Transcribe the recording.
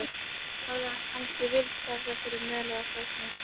Hafði hann kannski fyllst af þessari möl eða þornað upp?